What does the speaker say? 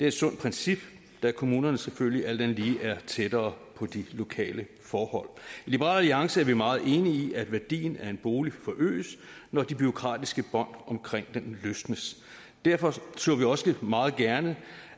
et sundt princip da kommunerne selvfølgelig alt andet lige er tættere på de lokale forhold i liberal alliance er vi meget enige i at værdien af en bolig forøges når de bureaukratiske bånd omkring den løsnes derfor så vi også meget gerne